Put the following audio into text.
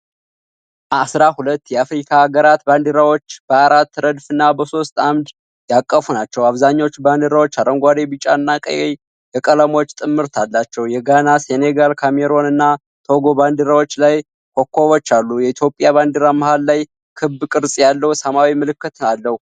አሥራ ሁለት የአፍሪካ አገራትን ባንዲራዎች በአራት ረድፍና በሦስት ዐምድ ያቀፉ ናቸው። አብዛኞቹ ባንዲራዎች አረንጓዴ፣ ቢጫ እና ቀይ የቀለሞች ጥምረት አላቸው። የጋና፣ ሴኔጋል፣ ካሜሩን እና ቶጎ ባንዲራዎች ላይ ኮከቦች አሉ። የኢትዮጵያ ባንዲራ መሀል ላይ ክብ ቅርጽ ያለው ሰማያዊ ምልክት አለው።